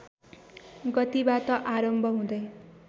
गतिबाट आरम्भ हुँदै